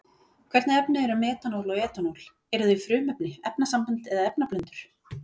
Hvernig efni eru metanól og etanól, eru þau frumefni, efnasambönd eða efnablöndur?